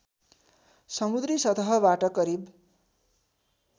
समुद्री सतहबाट करिब